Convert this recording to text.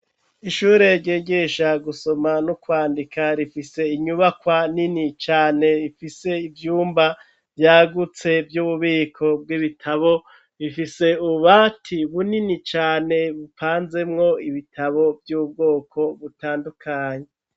Ishure, ryigisha gusoma, n'ukwandika, rifise inyubakwa, nini cane; ifise ivyumba vyagutse, vy'ububiko bw'ibitabo, ifise ububati bunini cane, bupanzemwo ibitabo, vy'ubwoko butandukanye.